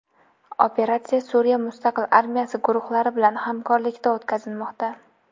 Operatsiya Suriya mustaqil armiyasi guruhlari bilan hamkorlikda o‘tkazilmoqda.